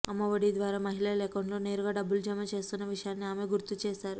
అమ్మ ఒడి ద్వారా మహిళల అకౌంట్లో నేరుగా డబ్బులు జమ చేస్తోన్న విషయాన్ని ఆమె గుర్తు చేశారు